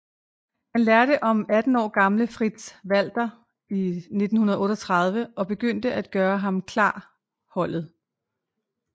Han lærte om 18 år gamle Fritz Walter i 1938 og begyndte at gøre ham klar holdet